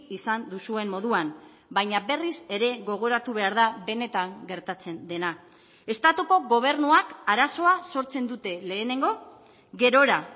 izan duzuen moduan baina berriz ere gogoratu behar da benetan gertatzen dena estatuko gobernuak arazoa sortzen dute lehenengo gerora